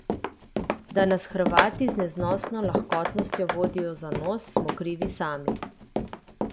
Da nas Hrvati z neznosno lahkostjo vodijo za nos, smo krivi sami.